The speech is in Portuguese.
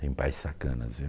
Tem pais sacanas, viu?